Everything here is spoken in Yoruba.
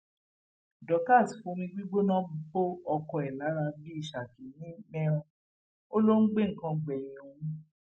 dorcas fomi gbígbóná bo ọkọ ẹ lára bíi ṣákì ní meiran ó lọ ń gbé nǹkan gbẹyìn òun